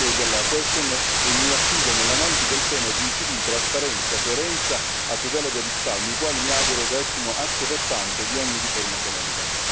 dell'interrogazione e mi affido, nell'analisi del tema, ai principi di trasparenza e coerenza a tutela dei risparmi i quali, mi auguro, restino asse portante di ogni riforma economica.